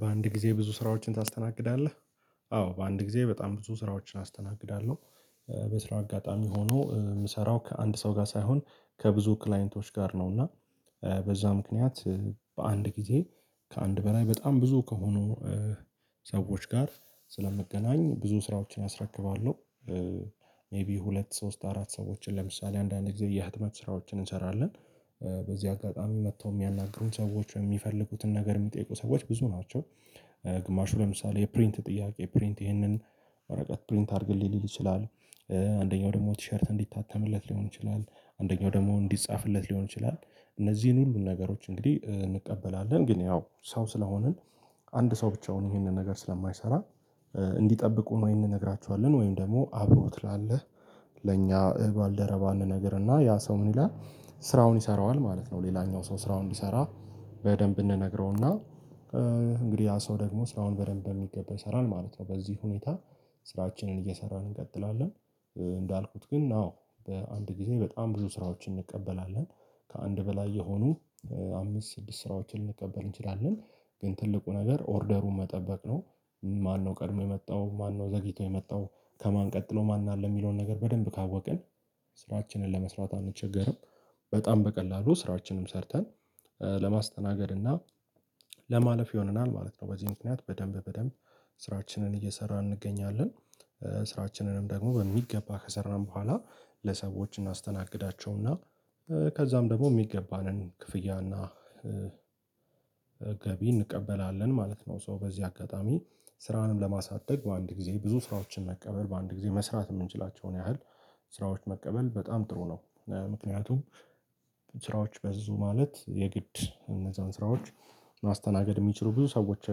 በአንድ ጊዜ ብዙ ስራዎችን ታስተናግዳለህ? አዎ በአንድ ጊዜ በጣም ብዙ ስራዎችን አስተናግዳለሁ። በስራ አጋጣሚ ሆኖ የምሰራው ከአንድ ሰው ጋር ሳይሆን ከብዙ ክላይንቶች ጋር ነው። እና በዛ ምክንያት በአንድ ጊዜ ከአንድ በላይ በጣም ብዙ ከሆኑ ሰዎች ጋር ስለምገናኝ ብዙ ስራዎችን አስረክባለሁ። ሜይቢ ሁለት ሶስት አራት ሰዎችን ለምሳሌ አንዳንድ ጊዜ የህትመት ስራዎችን እንሰራለን በዚህ አጋጣሚ መተው የሚያናግሩን ሰዎች የሚፈልጉትን ነገር የሚጠይቁ ሰዎች ብዙ ናቸው። ግማሹ ለምሳሌ የፕሪንት ጥያቄ ፕሪንት ይህንን ወረቀት ፕሪንት አድርግልኝ ሊል ይችላል። አንደኛው ደግሞ ቲሸርት እንዲታተምለት ሊሆን ይችላል አንደኛው ደግሞ እንዲጻፍለት ሊሆን ይችላል እነዚህን ሁሉን ነገሮች እንግዲህ እንቀበላለን ግን ያው ሰው ስለሆንን አንድ ሰው ብቻውን ይሄንን ነገር ስለማይሰራ እንዲጠብቁ ወይ እንነግራችኋለን ወይም ደግሞ አብሮት ላለህ ለእኛ እባል ደረባ እንነግርና ያ ሰው ምን ይላል ስራውን ይሰራዋል ማለት ነው። ሌላኛው ሰው ስራውን እንዲሰራ በደንብ እንነግረውና እንግዲህ ያ ሰው ደግሞ ስራውን በደንብ በሚገባ ይሰራል ማለት ነው። በዚህ ሁኔታ ስራችንን እየሰራን እንቀጥላለን። እንዳልኩት ግን አዎ በአንድ ጊዜ በጣም ብዙ ስራዎችን እንቀበላለን ከአንድ በላይ የሆኑ አምስት ስድስት ስራዎችን ልንቀበል እንችላለን። ግን ትልቁ ነገር ኦርደሩን መጠበቅ ነው። ማነው ቀድሞ የመጣው ማነው ዘግይቶ የመጣው ከማን ቀጥሎ ማን አለ የሚለውን ነገር በደንብ ካወቅን። ስራችንን ለመስራት አንቸገርም በጣም በቀላሉ ስራችንም ሰርተን ለማስተናገድ እና ለማለፍ ይሆነናል ማለት ነው። በዚህ ምክንያት በደንብ በደንብ ስራችንን እየሰራን እንገኛለን። ስራችንንም ደግሞ በሚገባ ከሰራን በኋላ ለሰዎች እናስተናግዳቸውና ከዛም ደግሞ የሚገባንን ክፍያና ገቢ እንቀበላለን ማለት ነው። ሰው በዚህ አጋጣሚ ስራንም ለማሳደግ በአንድ ጊዜ ብዙ ስራዎችን መቀበል በአንድ ጊዜ መስራት የምንችላቸውን ያህል ስራዎች መቀበል በጣም ጥሩ ነው። ምክንያቱም ስራዎች በዙ ማለት የግድ እነዛን ስራዎች ማስተናገድ የሚችሉ ብዙ ሰዎች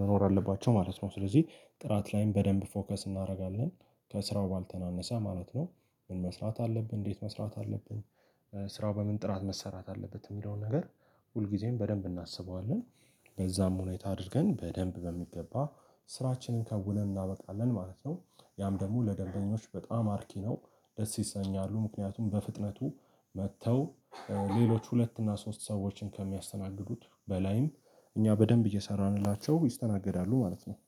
መኖር አለባቸው ማለት ነው። ስለዚህ ጥራት ላይም በደንብ ፎከስ እናደርጋለን። ከስራው ባልተናነሰ ማለት ነው። ምን መስራት አለብን እንዴት መስራት አለብን? ስራው በምን ጥራት መሰራት አለበት? የሚለውን ነገር ሁል ጊዜም በደንብ እናስበዋለን ለዛም ሁኔታ አድርገን በደንብ በሚገባ ስራችንን ከውነን እናበቃለን ማለት ነው። ያም ደግሞ ለደንበኞች በጣም አርኪ ነው። ደስ ይሰኛሉ ምክንያቱም በፍጥነቱ መጥተው ሌሎች ሁለት እና ሶስት ሰዎችን ከሚያስተናግዱት በላይም እኛ በደንብ እየሰራንላቸው ይስተናገዳሉ ማለት ነው